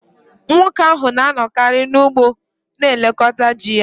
Nwoke ahụ na-anọkarị n’ugbo na-elekọta ji ya